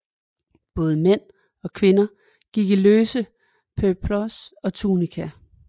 Både mænd og kvinder gik i løse peplos og tunikaer